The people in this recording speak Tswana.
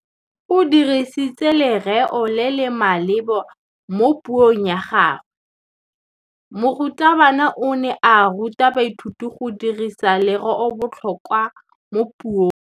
O dirisitse lerêo le le maleba mo puông ya gagwe. Morutabana o ne a ruta baithuti go dirisa lêrêôbotlhôkwa mo puong.